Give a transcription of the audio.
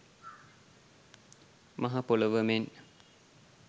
මහ පොළොව මෙන්